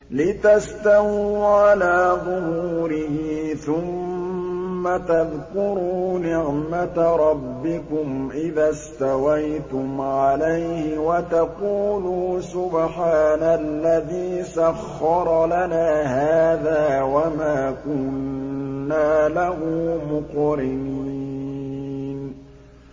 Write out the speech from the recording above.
لِتَسْتَوُوا عَلَىٰ ظُهُورِهِ ثُمَّ تَذْكُرُوا نِعْمَةَ رَبِّكُمْ إِذَا اسْتَوَيْتُمْ عَلَيْهِ وَتَقُولُوا سُبْحَانَ الَّذِي سَخَّرَ لَنَا هَٰذَا وَمَا كُنَّا لَهُ مُقْرِنِينَ